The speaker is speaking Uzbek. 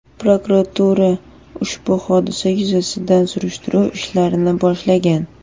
Prokuratura ushbu hodisa yuzasidan surishtiruv ishlarini boshlagan.